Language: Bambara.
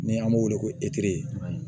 Ni an b'o wele ko